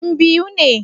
Yan biu ne?